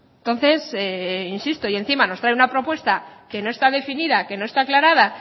entonces insisto y encima nos traen una propuesta que no está definida que no está aclarada